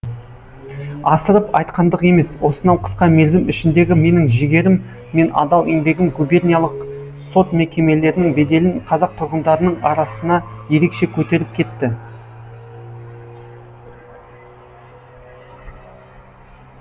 асырып айтқандық емес осынау қысқа мерзім ішіндегі менің жігерім мен адал еңбегім губерниялық сот мекемелерінің беделін қазақ тұрғындарының арасына ерекше көтеріп кетті